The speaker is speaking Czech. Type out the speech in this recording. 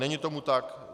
Není tomu tak.